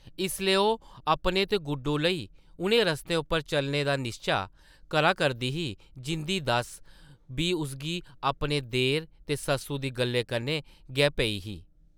इसलै ओह् अपने ते गुड्डो लेई उʼनें रस्तें उप्पर चलने दा निश्चा करा करदी ही जिंʼदी दस्स बी उसगी अपने देर ते सस्सु दी गल्लें कन्नै गै पेई ही ।